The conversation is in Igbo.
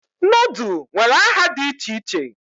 Nodul nwere aha di iche iche